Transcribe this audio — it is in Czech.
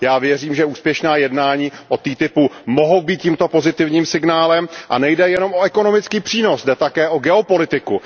Já věřím, že úspěšná jednání o TTIP mohou být tímto pozitivním signálem a nejde jenom o ekonomický přínos, jde také o geopolitiku.